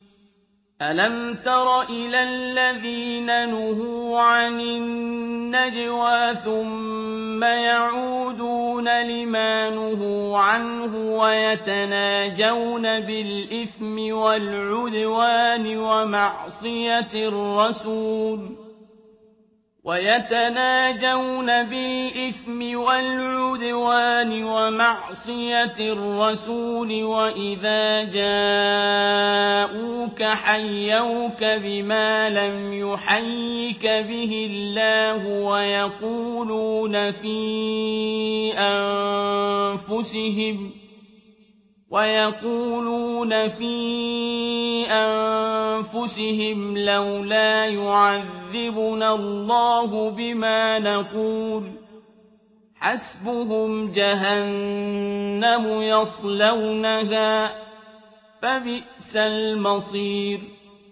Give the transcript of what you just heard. أَلَمْ تَرَ إِلَى الَّذِينَ نُهُوا عَنِ النَّجْوَىٰ ثُمَّ يَعُودُونَ لِمَا نُهُوا عَنْهُ وَيَتَنَاجَوْنَ بِالْإِثْمِ وَالْعُدْوَانِ وَمَعْصِيَتِ الرَّسُولِ وَإِذَا جَاءُوكَ حَيَّوْكَ بِمَا لَمْ يُحَيِّكَ بِهِ اللَّهُ وَيَقُولُونَ فِي أَنفُسِهِمْ لَوْلَا يُعَذِّبُنَا اللَّهُ بِمَا نَقُولُ ۚ حَسْبُهُمْ جَهَنَّمُ يَصْلَوْنَهَا ۖ فَبِئْسَ الْمَصِيرُ